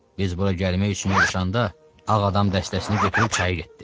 Biz bura gəlmək üçün yığışanda, ağ adam dəstəsini götürüb çayı getdi.